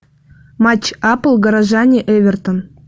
матч апл горожане эвертон